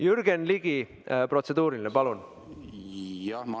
Jürgen Ligi, protseduuriline küsimus, palun!